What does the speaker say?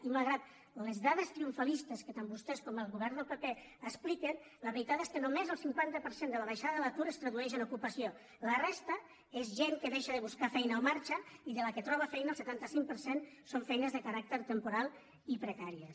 i malgrat les dades triomfalistes que tant vostès com el govern del pp expliquen la ve·ritat és que només el cinquanta per cent de la baixada de l’atur es tradueix en ocupació la resta és gent que deixa de buscar feina o marxa i de la que troba feina el setanta cinc per cent són feines de caràcter temporal i precàries